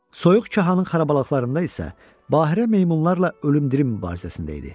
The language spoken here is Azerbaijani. Soyuq Kahanın xarabalıqlarında isə Bahirə meymunlarla ölümdirim mübarizəsində idi.